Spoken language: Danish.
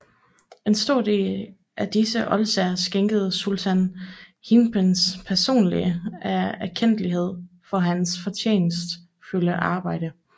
En stor del af disse oldsager skænkede Sultanen Hilprecht personlig af erkendtlighed for hans fortjenstfulde arbejde